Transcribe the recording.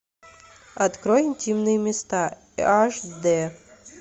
открой интимные места аш д